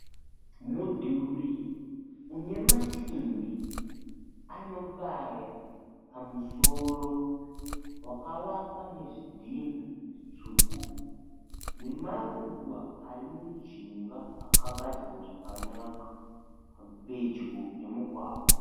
Mudhuri une masimbi anobaya pamusoro wakavakwa nezvidhinha zvitsvuku nemaruva ari mujinga akagadziwe zvakanaka pedyo nemugwagwa.